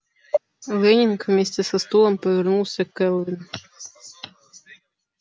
лэннинг вместе со стулом повернулся к кэлвин